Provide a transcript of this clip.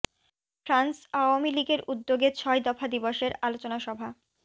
France Awami লীগের উদ্যোগে ছয় দফা দিবসের আলোচনা সভা